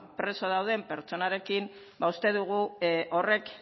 preso dauden pertsonarekin ba uste dugu horrek